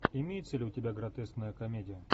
имеется ли у тебя гротескная комедия